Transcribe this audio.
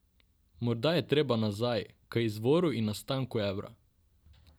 Morda je treba nazaj, k izvoru in nastanku evra.